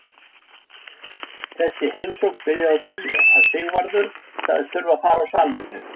Þessi heimsókn byrjaði á því að Sigvarður sagðist þurfa að fara á salernið.